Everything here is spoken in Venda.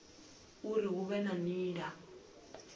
uri hu vhe na nila